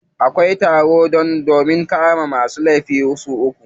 Akwai tsaro sosai domin kar masu laifi su gudu.